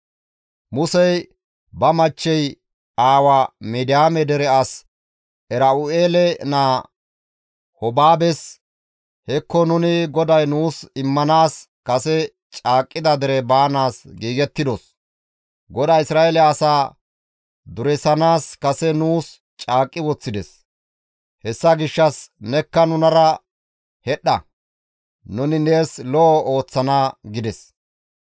Musey ba machchey aawa Midiyaame dere as Era7u7eele naa Hobaabes, «Hekko nuni GODAY nuus immanaas kase caaqqida dere baanaas giigettidos; GODAY Isra7eele asaa duresanaas kase nuus caaqqi woththides; hessa gishshas nekka nunara hedhdha; nuni nees lo7o ooththana» gides.